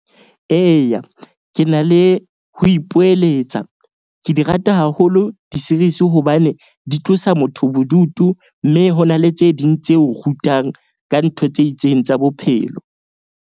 Eya, ke na le ho ipoeletsa. Ke di rata haholo di-series hobane di tlosa motho bodutu. Mme ho na le tse ding tse o rutang ka ntho tse itseng tsa bophelo.